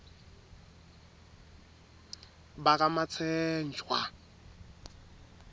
bakamatsenjwa